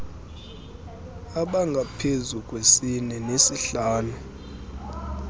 abangaphezu kwesine nesihlanu